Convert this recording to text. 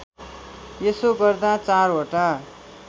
यसो गर्दा चारवटा